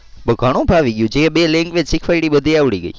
ઘણું ફાવી ગયું. જે બે language શીખવાડી એ બધી આવડી ગઈ.